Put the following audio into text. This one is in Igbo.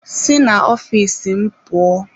Sị na ọfịs m pụọ!